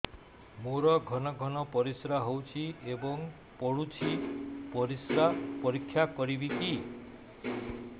ମୋର ଘନ ଘନ ପରିସ୍ରା ହେଉଛି ଏବଂ ପଡ଼ୁଛି ପରିସ୍ରା ପରୀକ୍ଷା କରିବିକି